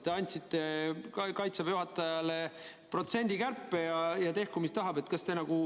Te andsite ka Kaitseväe juhatajale kärpeprotsendi kätte ja tehku, mis tahab.